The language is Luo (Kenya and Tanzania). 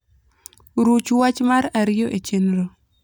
ruch wach mar ariyo e chenro